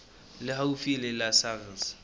le haufi le la sars